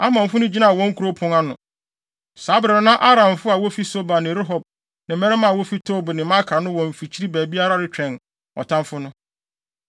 Amonfo no gyinaa wɔn kurow pon ano. Saa bere no na Aramfo a wofi Soba ne Rehob ne mmarima a wofi Tob ne Maaka no wɔ mfikyiri baabiara retwɛn ɔtamfo no.